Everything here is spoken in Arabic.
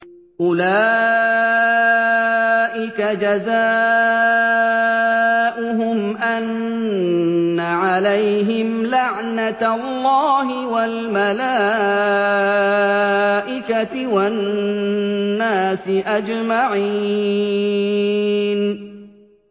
أُولَٰئِكَ جَزَاؤُهُمْ أَنَّ عَلَيْهِمْ لَعْنَةَ اللَّهِ وَالْمَلَائِكَةِ وَالنَّاسِ أَجْمَعِينَ